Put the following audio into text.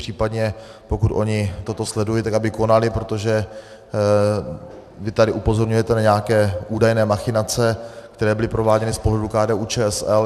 Případně, pokud ony toto sledují, tak aby konaly, protože vy tady upozorňujete na nějaké údajné machinace, které byly prováděny z pohledu KDU-ČSL.